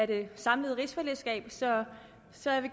det samlede rigsfællesskab så så jeg vil